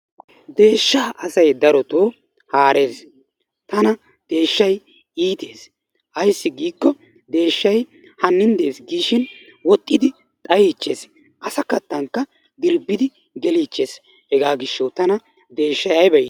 Deeshshaa asay darotoo haarees. Tana deeshshay iitees. Ayssi giikko deeshshay hannin dees giishin woxxidi xayichchees. Asa kattankka dirbbidi geliichchees. Hegaa gishshawu tana deeshshay ayba iitii?